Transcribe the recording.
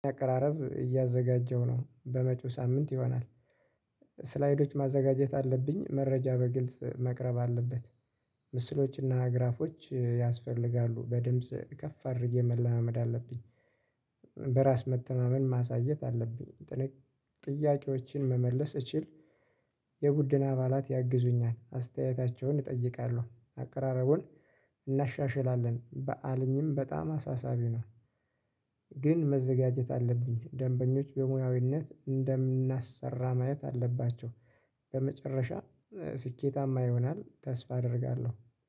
አቀራረብ እያዘጋጀው ነው በመጪው ሳምንት ይሆናል። ስላይዶች ማዘጋጀት አለብኝ መረጃ በግልጽ መቅረብ አለበት። ምስሎችና ግራፎች ያስፈልጋሉ በድምጽ ከፍ አድርጌ መላመመድ አለብኝ። በራስ መተማመን ማሳየት አለብኝ። ጥያቄዎችን መመለስ እችል። የቡድን አባላት ያግዙኛል አስተያየታቸውን እጠይቃለሁ አቀራረቡን እናሻሽላለን በዓለኝም በጣም አሳሳቢ ነው። ግን መዘጋጀት አለብኝ ደንበኞች በሙያዊነት እንደምናሰራ ማየት አለባቸው። በመጨረሻ ስኬታማ ይሆናል ተስፋ አደርጋለሁ።